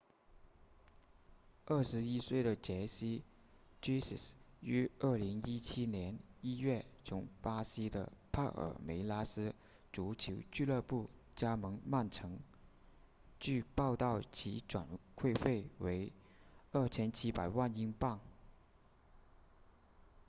21岁的杰西 jesus 于2017年1月从巴西的帕尔梅拉斯足球俱乐部加盟曼城据报道其转会费为2700万英镑